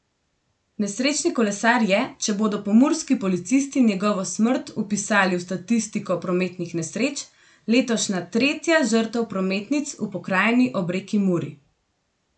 Nesrečni kolesar je, če bodo pomurski policisti njegovo smrt vpisali v statistiko prometnih nesreč, letošnja tretja žrtev prometnic v pokrajini ob reki Muri.